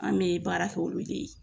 An bɛ baara kɛ olu de ye